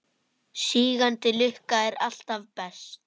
Sígandi lukka er alltaf best.